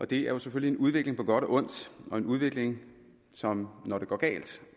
det er jo selvfølgelig en udvikling på godt og ondt og en udvikling som når det går galt